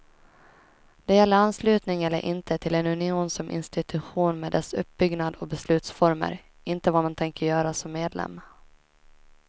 Det gäller anslutning eller inte till en union som institution med dess uppbyggnad och beslutsformer, inte vad man tänker göra som medlem.